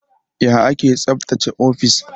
Ya ake tsaftace ofis?